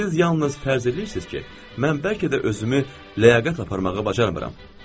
Siz yalnız fərz eləyirsiniz ki, mən bəlkə də özümü ləyaqətə aparmağa bacarmıram.